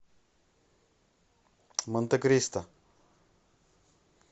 монтекристо